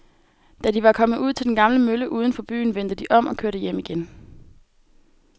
Da de var kommet ud til den gamle mølle uden for byen, vendte de om og kørte hjem igen.